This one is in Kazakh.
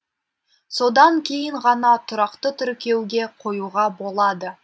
содан кейін ғана тұрақты тіркеуге қоюға болады